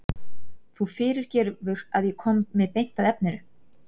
Þú fyrirgefur að ég komi beint að efninu.